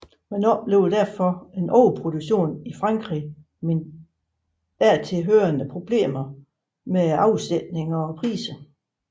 Man oplevede derfor overproduktion i Frankrig med dertil hørende problemer med afsætning og priser